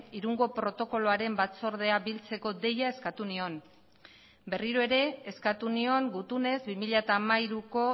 irungo protokoloaren batzordea biltzeko deia eskatu nion berriro ere eskatu nion gutunez bi mila hamairuko